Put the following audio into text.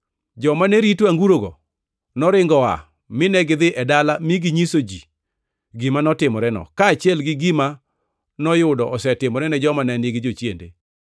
Joma ne rito angurogo noringo oa mine gidhi e dala mi ginyiso ji gima notimoreno, kaachiel gi gima noyudo osetimore ne joma ne nigi jochiende.